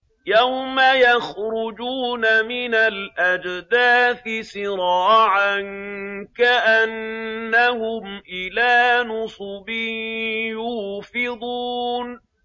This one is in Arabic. يَوْمَ يَخْرُجُونَ مِنَ الْأَجْدَاثِ سِرَاعًا كَأَنَّهُمْ إِلَىٰ نُصُبٍ يُوفِضُونَ